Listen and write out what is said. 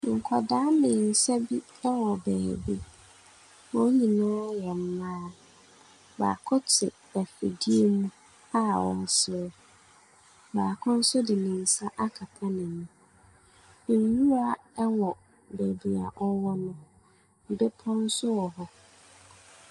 Nkwadaa mmiɛnsa bi wɔ beebi, wɔn nyinaa yɛ mmaa. Baako te afidie mu a wɔsɔ, baako nso de ne nsa akata n’ani. Nwura wɔ beebi a wɔwɔ no, bepɔ nso wɔ hɔ.